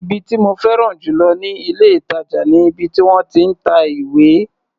Ibi tí mo féràn jù lọ ní ilé-ìtàjà ni ibi tí wọ́n ti ń ta ìwé.